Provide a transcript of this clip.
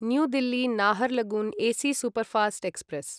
new Delhi Naharlagun AC superfast express